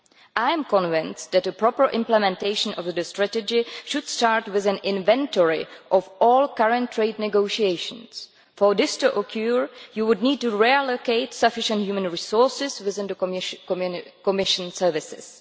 I am convinced that a proper implementation of the strategy should start with an inventory of all current trade negotiations. For this to occur you would need to reallocate sufficient human resources within the Commission services.